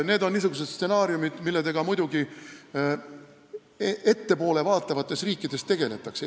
Need on niisugused stsenaariumid, millega muidugi ettepoole vaatavates riikides tegeldakse.